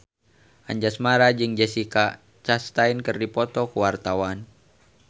Anjasmara jeung Jessica Chastain keur dipoto ku wartawan